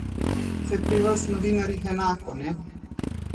Saj je pri vas, novinarjih, enako, ne?